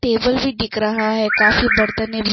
table भी दिख रहा है काफी बरतने भी--